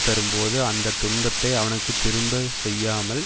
தரும்போது அந்த துன்பத்தை அவனுக்கு திரும்ப செய்யாமல்